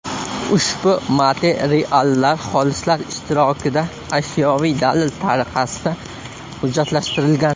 Ushbu materiallar xolislar ishtirokida ashyoviy dalil tariqasida hujjatlashtirilgan.